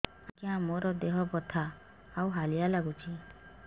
ଆଜ୍ଞା ମୋର ଦେହ ବଥା ଆଉ ହାଲିଆ ଲାଗୁଚି